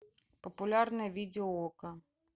популярные видео окко